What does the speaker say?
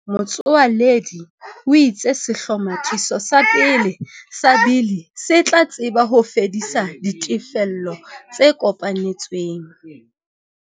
Motsoaledi o itse sehlomathiso sa pele sa bili se tla tseba ho fedisa ditefello tse kopanetsweng.